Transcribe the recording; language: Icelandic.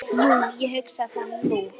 Jú, ég hugsa það nú.